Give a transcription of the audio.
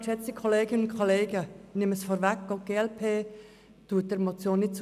Auch die glp stimmt der Motion nicht zu.